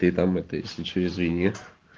ты там это если что извини